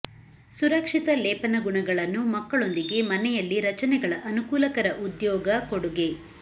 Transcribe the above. ಸುರಕ್ಷಿತ ಲೇಪನ ಗುಣಗಳನ್ನು ಮಕ್ಕಳೊಂದಿಗೆ ಮನೆಯಲ್ಲಿ ರಚನೆಗಳ ಅನುಕೂಲಕರ ಉದ್ಯೊಗ ಕೊಡುಗೆ